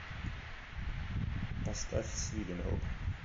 поставь свиден рок